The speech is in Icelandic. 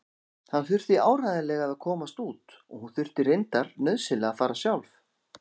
Hann þurfti áreiðanlega að komast út og hún þurfti reyndar nauðsynlega að fara sjálf.